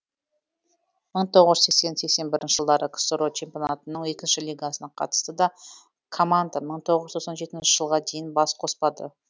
мың тоғыз жүз сексен сексен бір жылдары ксро чемпионатының екінші лигасына қатысты да команда мың тоғыз жүз тоқсан жеті жылға дейін бас қоспады